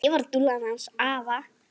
Ég var dúllan hans afa.